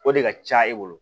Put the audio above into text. O de ka ca e bolo